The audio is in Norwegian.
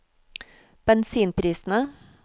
bensinprisene